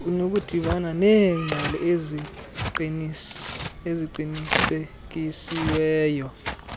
unokudibana neengcali eziqinisekisiweyo